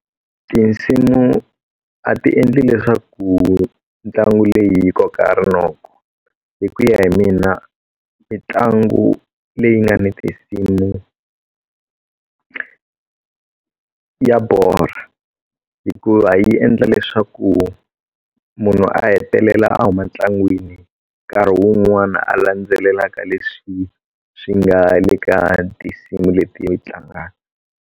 Tinsimu a ti endli leswaku ntlangu leyi yi koka rinoko hi ku ya hi mina mitlangu leyi nga ni tinsimu ya borha hikuva yi endla leswaku munhu a hetelela a huma ntlangwini nkarhi wun'wana a landzelelaka leswi swi nga le ka tinsimu leti tlangaka.